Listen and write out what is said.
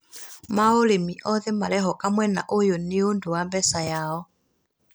ma ũrĩmi othe marehoka mwena ũyũ nĩ ũndũ wa mbeca yao